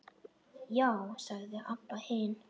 Já, sagði Abba hin.